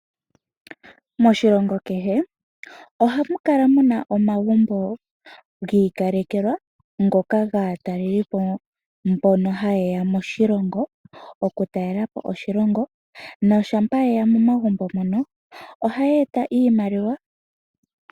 Moshilongo kehe ohamu kala muna omagumbo gi ikalekelwa ngoka gaatalelipo mbono haye ya moshilongo okutalela po oshilongo noshampa yeya momagumbo mono ohaya eta iimaliwa.